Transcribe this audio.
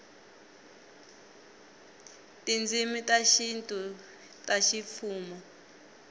tindzimi ta xintu ta ximfumo